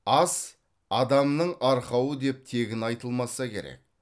ас адамның арқауы деп тегін айтылмаса керек